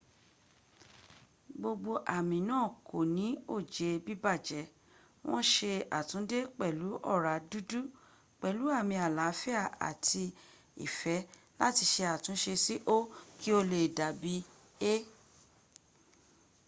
gbogbo ami naa ko ni oje bibaje won se atunde pelu ora dud pelu ami alaafia ati ife lati se atunse si o ki o le dabi e